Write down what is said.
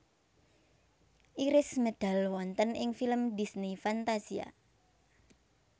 Iris medal wonten ing film Disney Fantasia